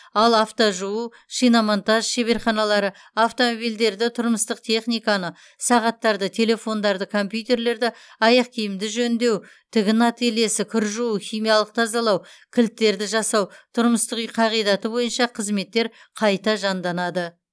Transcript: ал автожуу шиномонтаж шеберханалары автомобильдерді тұрмыстық техниканы сағаттарды телефондарды компьютерлерді аяқ киімді жөндеу тігін ательесі кір жуу химиялық тазалау кілттерді жасау тұрмыстық үй қағидаты бойынша қызметтер қайта жанданады